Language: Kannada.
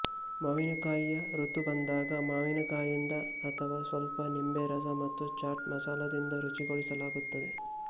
ಮಾವಿನಕಾಯಿಯ ಋತು ಬಂದಾಗ ಮಾವಿನಕಾಯಿಯಿಂದ ಅಥವಾ ಸ್ವಲ್ಪ ನಿಂಬೆರಸ ಮತ್ತು ಚಾಟ್ ಮಸಾಲಾದಿಂದ ರುಚಿಗೊಳಿಸಲಾಗುತ್ತದೆ